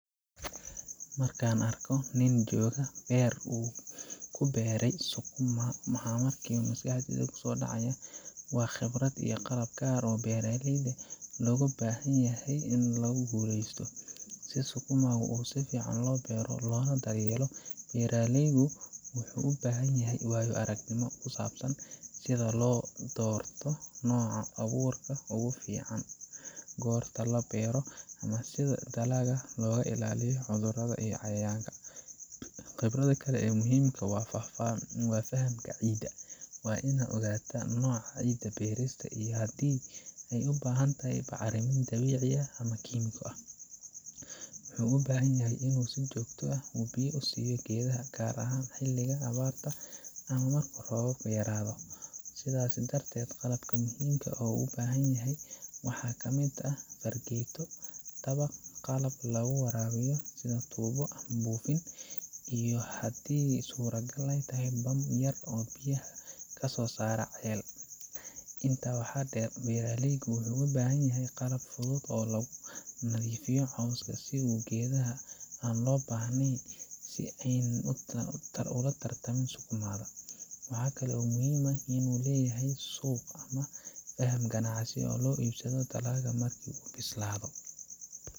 Marka aan arko nin jooga beer uu ku beertay sukuma, waxa markiiba maskaxdayda ku soo dhaca waa khibrad iyo qalab gaar ah oo beeraleyda looga baahan yahay si ay u guulaystaan. Si sukuma si fiican loo beero loona daryeelo, beeraleygu wuxuu u baahan yahay waayo-aragnimo ku saabsan sida loo doorto nooca abuurka ugu fiican, goorta la beero, iyo sida dalagga looga ilaaliyo cudurrada iyo cayayaanka. Khibradda kale ee muhiimka ah waa fahamka ciidda waa in uu ogaadaa nooca ciidda beertiisa, iyo haddii ay u baahan tahay bacriminta dabiiciga ah ama kiimiko ah. Wuxuu u baahan yahay inuu si joogto ah u biyo siiyo geedaha, gaar ahaan xiliga abaarta ama marka roobku yaraado. Sidaas darteed, qalab muhiim ah oo uu u baahan yahay waxaa ka mid ah fargeeto, dabaq, qalab lagu waraabiyo sida tuubo ama buufin, iyo haddii suurtagal ah, bam yar oo biyaha ka soo saara ceel. Intaa waxaa dheer, beeraleygu wuxuu u baahan yahay qalab fudud oo lagu nadiifiyo cawska iyo geedaha aan loo baahnayn, si aanay u tartamin sukuma da. Waxa kale oo muhiim ah inuu leeyahay suuq ama faham ganacsi si uu u iibiyo dalaggiisa markii ay bislaado.